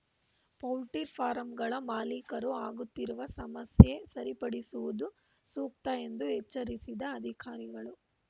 ಪೌಲ್ಟಿ ಫಾರಂಗಳ ಮಾಲೀಕರು ಆಗುತ್ತಿರುವ ಸಮಸ್ಯೆ ಸರಿಪಡಿಸುವುದು ಸೂಕ್ತ ಎಂದು ಎಚ್ಚರಿಸಿದ ಅಧಿಕಾರಿಗಳು